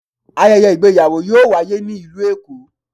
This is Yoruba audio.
Ayẹyẹ ìgbéyàwò yọọ waye ni ilú Èko.